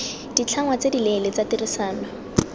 ditlhangwa tse dileele tsa tirisano